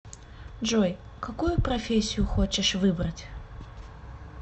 джой какую профессию хочешь выбрать